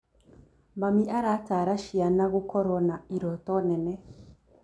Mami arataara ciana gũkorwo na irooto nene.